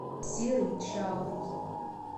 серый чалый